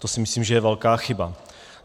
To si myslím, že je velká chyba.